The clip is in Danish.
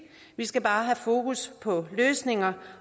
vi skal bare have fokus på løsninger